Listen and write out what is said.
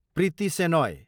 Preeti Shenoy